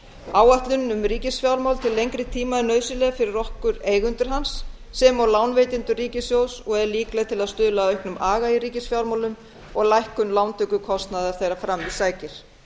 áætlun um ríkisfjármál til lengri er nauðsynleg fyrir okkur eigendur hans sem og lánveitendur ríkissjóðs og er líkleg til að stuðla að auknum aga í ríkisfjármálum og lækkun lántökukostnaðar þegar fram í sækir